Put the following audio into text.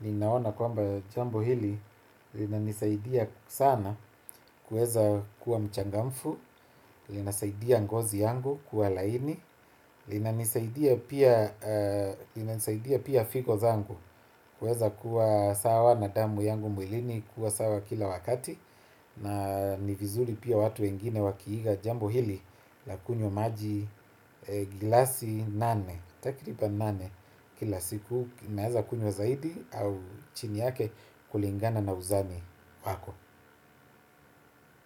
ninaona kwamba jambo hili linanisaidia sana kuweza kuwa mchangamfu, lina saidia ngozi yangu kuwa laini, lina nisaidia pia figo zangu kuweza kuwa sawa na damu yangu mwilini kuwa sawa kila wakati, na ni vizuri pia watu wengine wakiiga jambo hili la kunywa maji gilasi nane takriban nane kila siku, unaeza kunywa zaidi au chini yake kulingana na uzani wako.